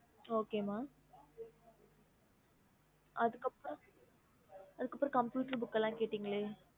ஹம்